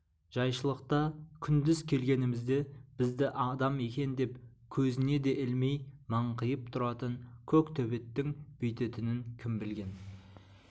жайшылықта күндіз келгенімізде бізді адам екен деп көзіне де ілмей маңқиып тұратын көк төбеттің бүйтетінін кім білген